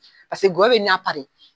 Paseke gɔya bɛ na !